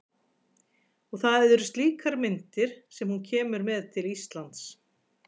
Og það eru slíkar myndir sem hún kemur með til Íslands.